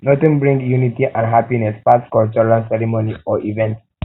nothing bring um unity and happiness pass cultural ceremony or event or event